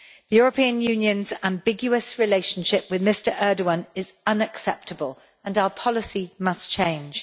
The European Union's ambiguous relationship with Mr Erdogan is unacceptable, and our policy must change.